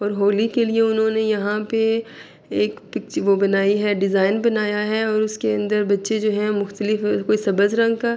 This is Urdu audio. اور ہولی کے لئے انہونے یہاں پی ایک پ وو بنائی ہے۔ ڈیزائن بنایا ہے اور بکچے جو ہے مختلف کوئی رنگ کا--